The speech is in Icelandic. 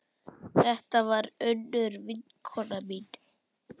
Þetta var Unnur vinkona mín.